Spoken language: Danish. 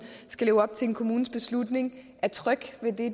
skal leve op til en kommunes beslutning er tryg ved det